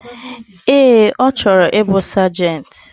Ee, ochoro ibu Sergeant.